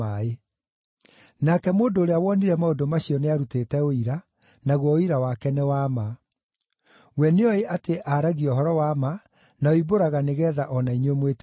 Nake mũndũ ũrĩa wonire maũndũ macio nĩarutĩte ũira, naguo ũira wake nĩ wa ma. We nĩooĩ atĩ aaragia ũhoro wa ma, na oimbũraga nĩgeetha o na inyuĩ mwĩtĩkie.